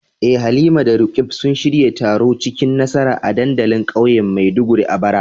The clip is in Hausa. Eh Halima da Roqeeb sun shirya taro cikin nasara a dandalin kauyen Maiduguri a bara.